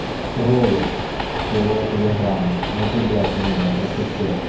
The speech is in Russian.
троллю всего телеграмма но ты блять именно красапет